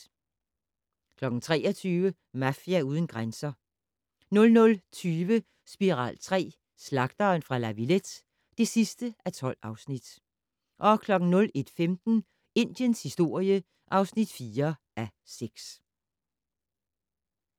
23:00: Mafia uden grænser 00:20: Spiral III: Slagteren fra La Villette (12:12) 01:15: Indiens historie (4:6)